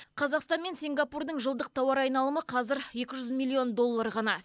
қазақстан мен сингапурдың жылдық тауар айналымы қазір екі жүз миллион доллар ғана